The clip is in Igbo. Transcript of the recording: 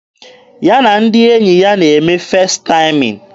Ya na ndị enyi ya na-eme Festaịm.